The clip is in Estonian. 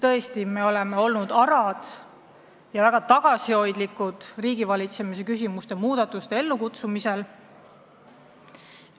Tõesti, me oleme olnud arad ja väga tagasihoidlikud riigivalitsemises muudatuste ellukutsumisel.